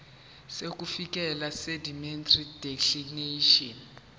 sokuvikeleka seindemnity declaration